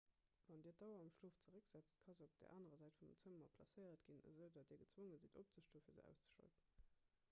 wann dir d'auer am schlof zerécksetzt ka se op der anerer säit vum zëmmer placéiert ginn esoudatt dir gezwonge sidd opzestoen fir se auszeschalten